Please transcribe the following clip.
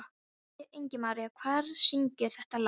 Ingimaría, hver syngur þetta lag?